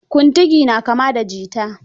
Kuntigi na kama da jita.